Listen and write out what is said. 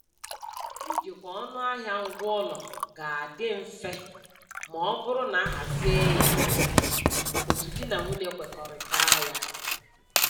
Ijikwa ọnụahịa ngwaụlọ ga-adị dị mfe maọbụrụ na-ahazie ya otu di na nwunye kwekọrịtaa ya